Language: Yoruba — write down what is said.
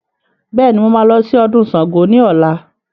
Bẹẹni, mo máa lọ sí ọdún Sángo ni ọ̀la